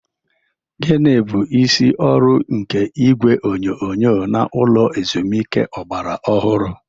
Gịnị bụ isi ọrụ nke igwe onyonyo n'ụlọ ezumike ọgbara ọhụrụ?